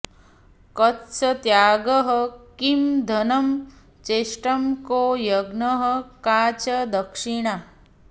कस्त्यागः किं धनं चेष्टं को यज्ञः का च दक्षिणा